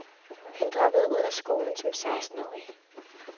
Han droppede ud af skolen som sekstenårig.